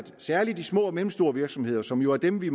særlig de små og mellemstore virksomheder som jo er dem vi